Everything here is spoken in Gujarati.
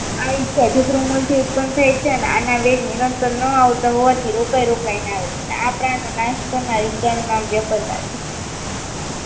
આવી મૂળથી ઉત્પન્ન થાય છે આના વેગ નિરંતર ન આવતા હોવાથી રોકાય રોકાઈને આવે છે આ પ્રાણનો નાશ કરનાર ઇકાનું વ્યાપક થાય છે